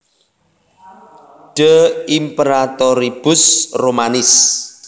De Imperatoribus Romanis